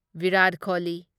Virat Kohli